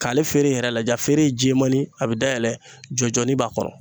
K'ale feere yɛrɛ lajɛ, a feere ye jɛmanin a bɛ dayɛlɛ jɔjɔni b'a kɔrɔ.